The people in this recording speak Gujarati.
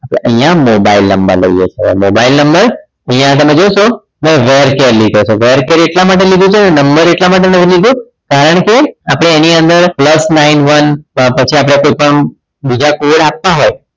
આપણે અહીંયા mobile number લઈએ છીએ હવે mobile number અહીંયા તમે જોશો મેં variable char કેમ લીધો તો variable char એટલા માટે લીધો છે કે number એટલા માટે નથી લીધો કે કારણ કે આપણે એની અંદર plus nine one પછી આપણે કોઈપણ બીજા code આવતા હોય